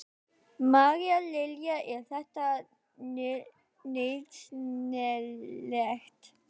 María Lilja: Er þetta nauðsynlegt?